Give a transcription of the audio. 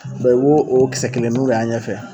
i b'o o kisɛ kelenniw de y'a ɲɛ fɛ.